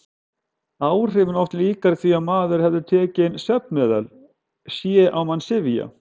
Áhrifin oft líkari því að maður hefði tekið inn svefnmeðal: sé á mann syfja.